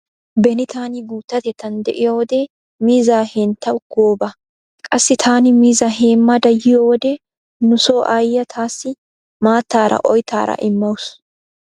Beni taani guuttatettan de'iyo wode miizzaa henttawu gooba. Qassi taani miizzaa heemmada yiyo wode nu so ayyiya taassi maattaara oyttaara immawusu.